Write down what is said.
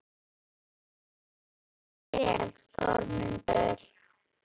Þú stendur þig vel, Þormundur!